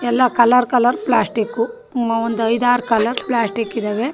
ಎಲ್ಲ colour colour plastic ಹ್ಮ್ ಒಂದು ಐದು ಆರು ಕಲರ್ ಪ್ಲಾಸ್ಟಿಕ್ ಇದವೆ .